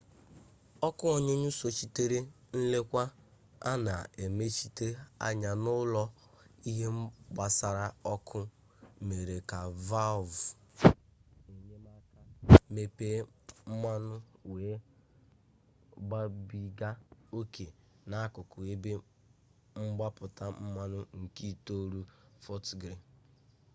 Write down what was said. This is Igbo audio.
ọkụ ọnyụnyụ sochitere nlekwa a na emechite anya n'ụlọ ihe gbasara ọkụ mere ka valvụ enyemaka mepee mmanụ wee gbabiga oke n'akụkụ ebe mgbapụta mmanụ nke itolu fọt griili